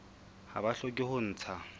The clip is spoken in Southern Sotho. ha ba hloke ho ntsha